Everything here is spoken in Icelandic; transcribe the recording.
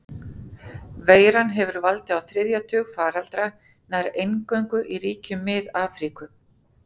Veiran hefur valdið á þriðja tug faraldra, nær eingöngu í ríkjum Mið-Afríku.